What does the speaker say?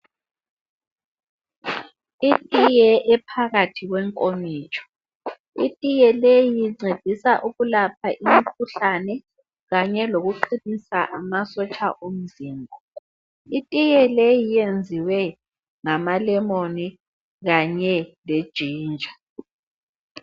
Itiye ephakathi kwenkomitsho, itiye leyi incedisa ukulapha imikhuhlane kanye lokuqinisa amasotsha omzimba. Itiye leyi iyenziwe ngamalemoni kanye lejinja.